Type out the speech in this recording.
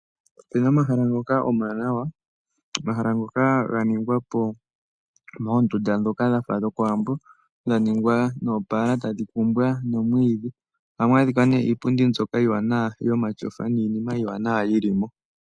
Opuna omahala ngoka omawanawa. Omahala ngoka ganingwa po moondunda ndhoka dhafa dhokOwambo, dhaningwa noopala tadhi kumbwa nomwiidhi. Ohamu adhika nee iipundi mbyoka iiwanawa yomatyofa niinima iiwanawa yili mo.